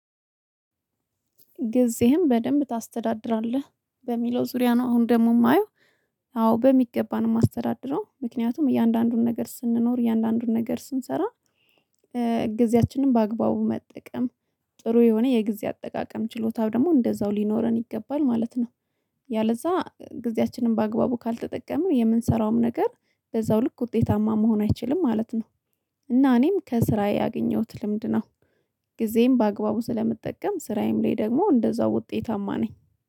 ጊዜህን በደንብ ታስተዳድራለህ በሚለው ዙሪያ ነው አሁን ደግሞ የማየው። አዎ በሚገባ ማስተዳድረው ምክንያቱም እያንዳንዱን ነገር ስንኖር እያንዳንዱን ነገር ስንሰራ ጊዜያችንን በአግባቡ መጠቀም ጥሩ የሆነ የጊዜ አጠቃቀም ችሎታው ደግሞ እንደዛው ሊኖረን ይገባል ማለት ነው። ያለዛ ጊዜያችንን በአግባቡ ካልተጠቀምን የምንሰራውም ነገር በዛው ልክ ውጤታማ መሆን አይችልም ማለት ነው። እና እኔም ከስራዬ ያገኘሁት ልምድ ነው። ጊዜም በአግባቡ ስለምጠቀም ስራዬም ላይ ደግሞ እንደዛው ውጤታማ ነኝ